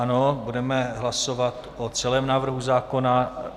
Ano, budeme hlasovat o celém návrhu zákona.